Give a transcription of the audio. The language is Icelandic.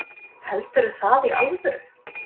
Heldurðu það í alvöru?